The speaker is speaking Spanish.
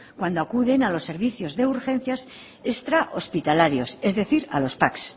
cuando acuden a los servicios de urgencias extra hospitalarios es decir a los pac